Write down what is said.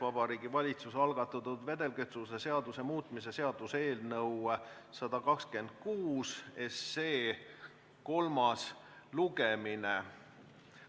Vabariigi Valitsuse algatatud vedelkütuse seaduse muutmise seaduse eelnõu 126 kolmas lugemine.